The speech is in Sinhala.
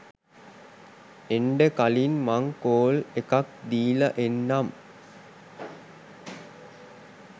එන්ඩ කලින් මං කෝල් එකක් දීලා එන්නම්